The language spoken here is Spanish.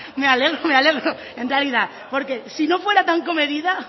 me alegro me alegro en realidad porque si no fuera tan comedida